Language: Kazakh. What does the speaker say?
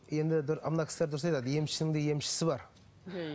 мына кісілер дұрыс айтады емшінің де емшісі бар иә